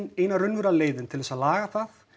eina raunverulega leiðin til að laga það